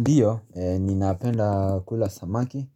Ndiyo, ninapenda kula samaki,